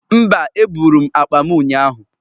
Mba, eburu m akpa m ụnyaahụ